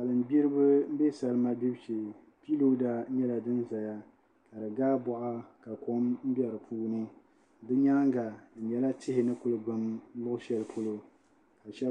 Salin gbiribi n bɛ salima gbibu shee piilooda nyɛla din biɛni ka di gaa boɣa ka kom bɛ di puuni bi nyaanga di nyɛla tihi ni ku gbum luɣu shɛli polo